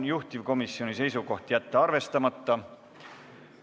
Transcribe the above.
Juhtivkomisjoni seisukoht: jätta arvestamata.